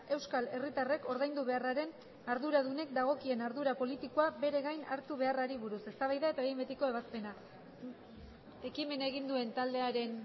euskal herritarrek ordaindu beharraren arduradunek dagokien ardura politikoa bere gain hartu beharrari buruz eztabaida eta behin betiko ebazpena ekimena egin duen taldearen